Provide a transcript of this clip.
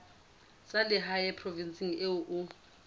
tsa lehae provinseng eo o